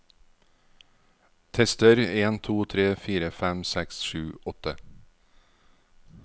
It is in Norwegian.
Tester en to tre fire fem seks sju åtte